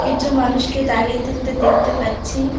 কিছু মানুষকে দাঁড়িয়ে থাকতে দেখতে পাচ্ছি।